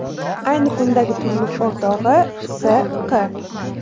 Ayni kundagi turmush o‘rtog‘i S.Q.